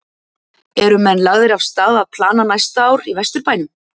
Eru menn lagðir af stað að plana næsta ár í Vesturbænum?